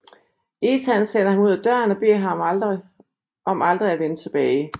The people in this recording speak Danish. Ethan sender ham ud af døren og beder ham om aldrig at vende tilbage